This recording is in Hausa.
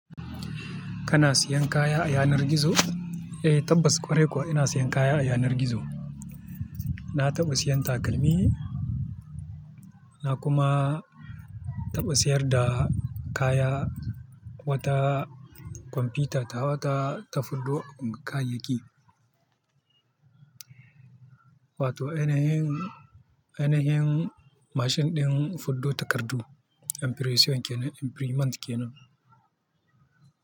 Kana siyan kaya a yanar gizo? Eh tabbas ƙwarai kuwa ina siyan kaya a yanar gizo. Na taɓa siyan takalmi, na kuma taɓa siyar da kaya, wata kwamfuta ta wata tafiddo kayayyaki. Wato ainhin, ainihin mashin ɗin fuddo takardu, impression kenan, imprinmant kenan.